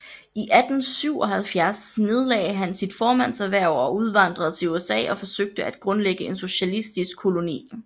I 1877 nedlagde han sit formandshverv og udvandrede til USA og forsøgte at grundlægge en socialistisk koloni